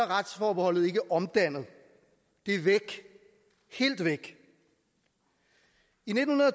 retsforbeholdet ikke omdannet det er væk helt væk i nitten